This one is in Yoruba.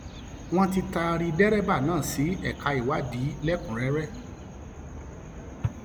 wọn ti taari dẹrẹbà náà sí ẹka ìwádìí lẹkùnúnrẹrẹ